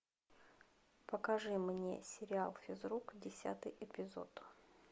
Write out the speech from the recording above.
покажи мне сериал физрук десятый эпизод